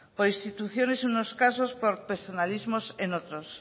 por instituciones en unos casos por personalismos en otros